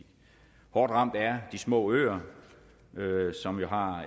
hårdt ramt er de små øer som jo har